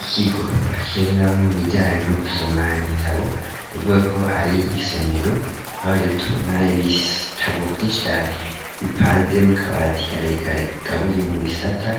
Ikigo bakereraneramwo ibijanye no gusoma ibitabo nivuga ko ari isomero aho rero tubona ibitabo vy'inshi cane bipanze mu kabati karekare kagabuye mu bisata